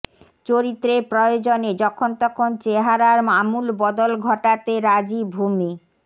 চরিত্রের প্রয়োজনে যখন তখন চেহারার আমূল বদল ঘটাতে রাজি ভূমি